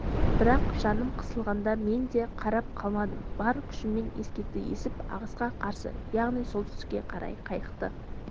бірақ жаным қысылғанда мен де қарап қалмадым бар күшіммен ескекті есіп ағысқа қарсы яғни солтүстікке қарай қайықты